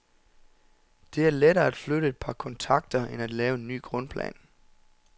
Det er lettere at flytte et par kontakter end at lave en ny grundplan.